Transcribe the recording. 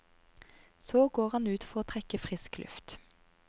Så går han ut for å trekke frisk luft.